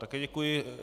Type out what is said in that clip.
Také děkuji.